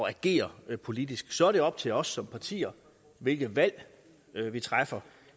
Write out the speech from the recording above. at agere politisk så er det op til os som partier hvilke valg vi træffer